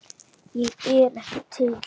Ég er ekki til.